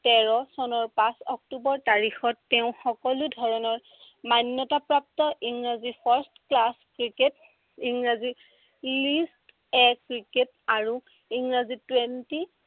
তেৰ চনৰ পাঁচ অক্টোৱৰ তাৰিখত তেওঁ সকলো ধৰণৰ মান্য়তা প্ৰাপ্ত ইংৰাজী first class ক্ৰিকেট, ইংৰাজী league A ক্ৰিকেট আৰু ইংৰাজী twenty